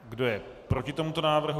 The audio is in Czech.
Kdo je proti tomuto návrhu?